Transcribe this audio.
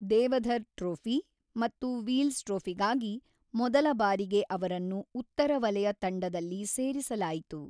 Deodhar trophy ಮತ್ತು Wills ಟ್ರೋಫಿಗಾಗಿ ಮೊದಲ ಬಾರಿಗೆ ಅವರನ್ನು ಉತ್ತರ ವಲಯ ತಂಡದಲ್ಲಿ ಸೇರಿಸಲಾಯಿತು.